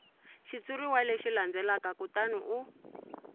xitshuriwa lexi landzelaka kutani u